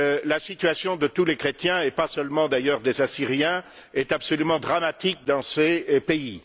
La situation de tous les chrétiens, et pas seulement celle des assyriens, est absolument dramatique dans ces pays.